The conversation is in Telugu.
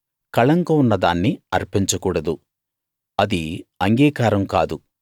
కళంకం ఉన్న దాన్ని అర్పించ కూడదు అది అంగీకారం కాదు